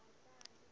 we loyi a nga ta